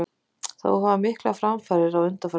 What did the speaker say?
Þó hafa orðið miklar framfarir á undanförnum árum.